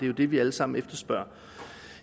jo det vi alle sammen efterspørger